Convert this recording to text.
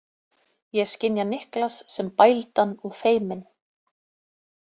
Ég skynja Niklas sem bældan og feiminn.